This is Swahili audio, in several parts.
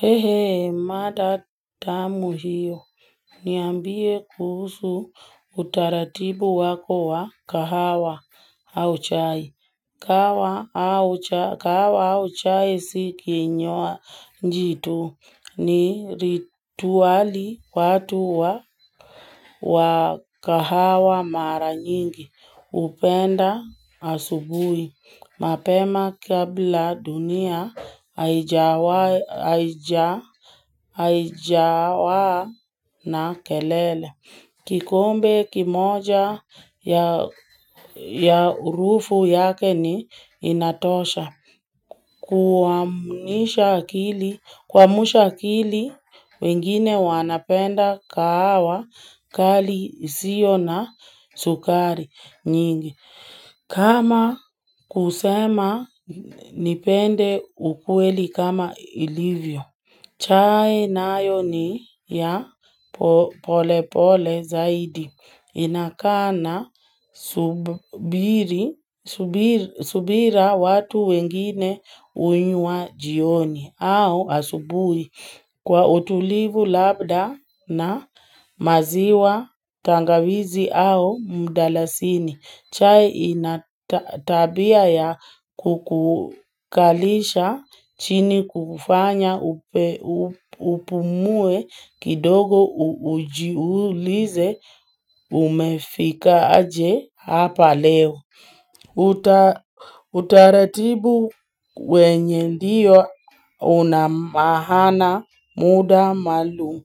He hee mada tamu hiyo Niambie kuhusu utaratibu wako wa kahawa au chai kahawa au chai si kinywaji tu ni rituali watu wa wa kahawa mara nyingi hupenda asubuhi mapema kabla dunia haijawa na kelele. Kikombe kimoja ya urufu yake ni inatosha. Kuamusha akili wengine wanapenda kahawa kali isio na sukari nyingi. Kama kusema nipende ukweli kama ilivyo. Chai nayo ni ya polepole zaidi. Inakaa na subira watu wengine huinywa jioni au asubuhi kwa utulivu labda na maziwa tangawizi au mdalasini. Chai ina tabia ya kukukalisha chini kufanya upumue kidogo ujiulize umefika aje hapa leo. Utaratibu wenye ndiyo una maana muda maalum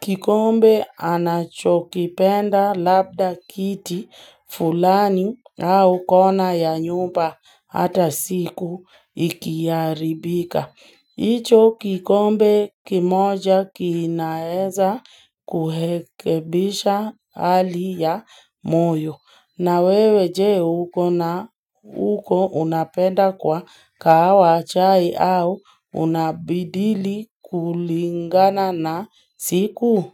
kikombe anachokipenda labda kiti fulani au kona ya nyumba hata siku ikiharibika hicho kikombe kimoja kinaeza kuhekebisha hali ya moyo na wewe je uko na unapenda kwa kahawa chai au unabadili kulingana na siku.